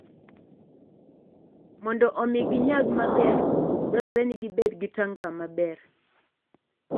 Mondo omi ginyag maber, dwarore ni gibed gi tanka maber.